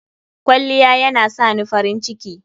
Kwalliya yana sani farin ciki.